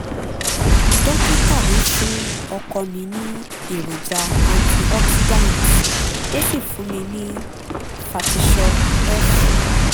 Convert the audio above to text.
dókítà mi fún ọkọ mi ní èròjà antioxidants ó sì fún mi ní fertisure-f